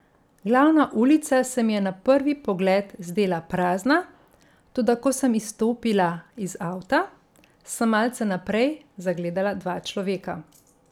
Glavna ulica se mi je na prvi pogled zdela prazna, toda ko sem izstopila iz avta, sem malce naprej zagledala dva človeka.